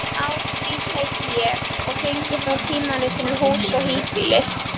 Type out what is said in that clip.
Ásdís heiti ég og hringi frá tímaritinu Hús og híbýli.